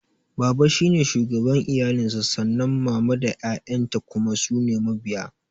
Baba shine shugaban iyali sa sannan mama da ƴaƴan ta kuma sune mabiya